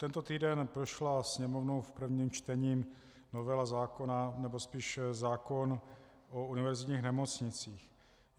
Tento týden prošla Sněmovnou v prvním čtení novela zákona, nebo spíš zákon o univerzitních nemocnicích.